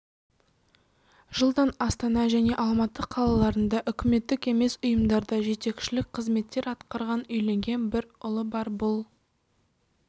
жылдан астана және алматы қалаларында үкіметтік емес ұйымдарда жетекшілік қызметтер атқарған үйленген бір ұлы бар бұл